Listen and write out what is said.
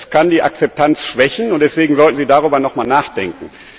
Es kann die Akzeptanz schwächen, und deswegen sollten Sie darüber noch einmal nachdenken.